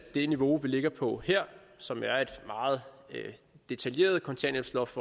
det niveau vi ligger på her som er et meget detaljeret kontanthjælpsloft